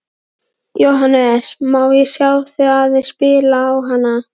Jóhannes: Má ég sjá þig aðeins spila á hana?